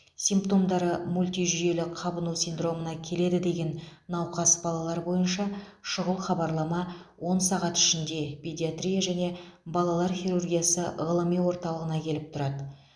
симптомдары мультижүйелі қабыну синдромына келеді деген науқас балалар бойынша шұғыл хабарлама он сағат ішінде педиатрия және балалар хирургиясы ғылыми орталығына келіп тұрады